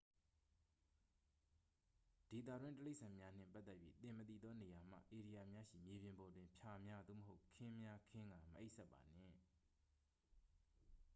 ဒေသတွင်းတိရစ္ဆာန်များနှင့်ပတ်သက်၍ သင်မသိသောနေရာမှ ဧရိယာများရှိ မြေပြင်ပေါ်တွင် ဖျာများ သို့မဟုတ် ခင်းများခင်းကာ မအိပ်စက်ပါနှင့်